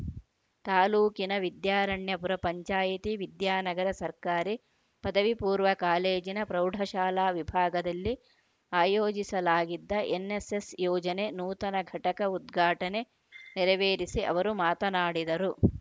ತಾಲೂಕಿನ ವಿದ್ಯಾರಣ್ಯಪುರ ಪಂಚಾಯಿತಿ ವಿದ್ಯಾನಗರ ಸರ್ಕಾರಿ ಪದವಿಪೂರ್ವ ಕಾಲೇಜಿನ ಪ್ರೌಢಶಾಲಾ ವಿಭಾಗದಲ್ಲಿ ಆಯೋಜಿಸಲಾಗಿದ್ದ ಎನ್‌ಎಸ್‌ಎಸ್‌ ಯೋಜನೆ ನೂತನ ಘಟಕ ಉದ್ಘಾಟನೆ ನೆರವೇರಿಸಿ ಅವರು ಮಾತನಾಡಿದರು